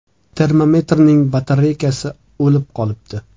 Termometrning batareykasi “o‘lib” qolibdi.